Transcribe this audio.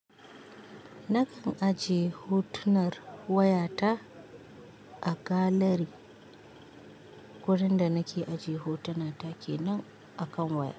Nakan ajiye hotunan wayata a gallery. Wurin da nake ajiye hotuna ta kenan a kan waya.